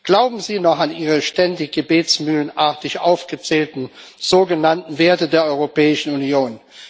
Glauben Sie noch an Ihre ständig gebetsmühlenartig aufgezählten sogenannten Werte der Europäischen Union?